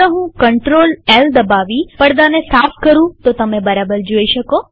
ચાલો હું ctrll દબાવી પડદાને સાફ કરુંતો તમે બરાબર જોઈ શકો